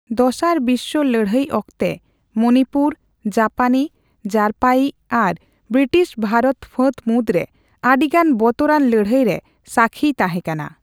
ᱫᱚᱥᱟᱨ ᱵᱤᱥᱥᱚ ᱞᱟᱹᱲᱦᱟᱹᱭ ᱚᱠᱛᱮ, ᱢᱚᱱᱤᱯᱩᱨ ᱡᱟᱯᱟᱱᱤ ᱡᱟᱨᱯᱟᱭᱤᱡ ᱟᱨ ᱵᱨᱤᱴᱤᱥ ᱵᱷᱟᱨᱚᱛ ᱯᱷᱟᱹᱛ ᱢᱩᱫ ᱨᱮ ᱟᱹᱰᱤᱜᱟᱱ ᱵᱚᱛᱚᱨᱟᱱ ᱞᱟᱹᱲᱦᱟᱹᱭᱨᱮ ᱥᱟᱹᱠᱷᱤᱭ ᱛᱟᱦᱮᱸ ᱠᱟᱱᱟ ᱾